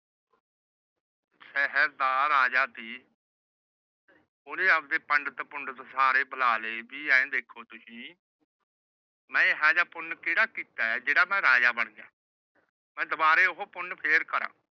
ਸ਼ਹਿਰ ਦਾ ਰਾਜਾ ਸੀ। ਉਹਨੇ ਆਪਣੇ ਪੰਡਿਤ ਪੂੰਡਿਤ ਸਾਰੇ ਬੁਲਾ ਲਏ ਐ ਵੇਖੋ ਤੁਸੀਂ ਮੈ ਇਹੋ ਜਿਹਾ ਪੁਣ ਕੇੜਾ ਕੀਤਾ ਆ ਜਿਹੜਾ ਮੈ ਰਾਜਾ ਬਣ ਗਿਆ ਮੈ ਦੁਬਾਰਾ ਉਹ ਪੁਣ ਫੇਰ ਕਰਾ।